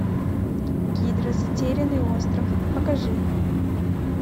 гидра затерянный остров покажи